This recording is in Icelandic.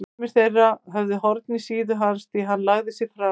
Sumir þeirra höfðu horn í síðu hans því hann lagði sig fram.